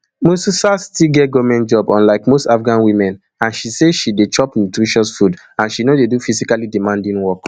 musrsal still get goment job unlike most afghan women and she say she dey chop nutritious food and she no dey do physically demanding work